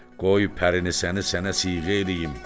Qoy pərini səni sənə siğə eləyim.